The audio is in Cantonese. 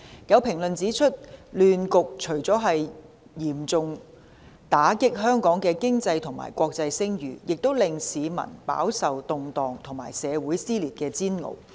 有評論指出，亂局除了嚴重打擊香港的經濟和國際聲譽，亦令市民飽受動盪和社會撕裂的煎熬。